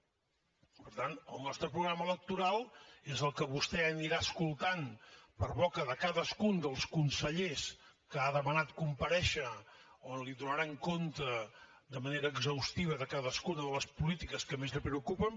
per tant el nostre programa electoral és el que vostè anirà escoltant per boca de cadascun dels consellers que han demanat comparèixer on li donaran compte de manera exhaustiva de cadascuna de les polítiques que més el preocupen